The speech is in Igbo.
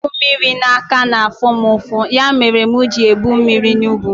I bu mmiri n'aka na-afụ mụ ụfụ, ya mere mụ ji ebu mmiri n'ubu